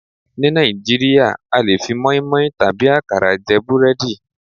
Ní Nàìjíríà a lè fi moinmoin tàbí àkàrà jẹ búrẹ́dì.